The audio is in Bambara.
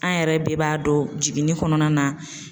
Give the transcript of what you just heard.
An yɛrɛ de b'a dɔn jiginni kɔnɔna na.